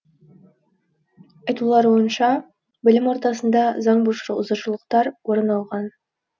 айтуларуынша білім ордасында заңбұзушылықтар орын алған